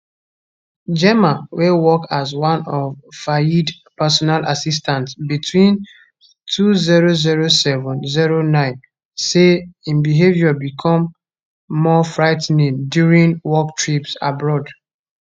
gemma wey work as one of fayed personal assistants between 200709 say im behaviour become more frigh ten ing during work trips abroad